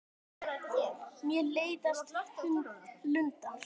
Mér leiðast luntar.